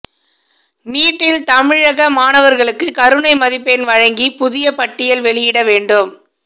நீட்டில் தமிழக மாணவர்களுக்கு கருணை மதிப்பெண் வழங்கி புதிய பட்டியல் வெளியிட வேண்டும்